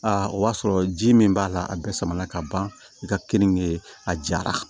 o y'a sɔrɔ ji min b'a la a bɛɛ sama ka ban i ka keninge a jara